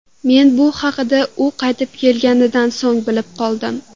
Men bu haqida u qaytib kelganidan so‘ng bilib qoldim.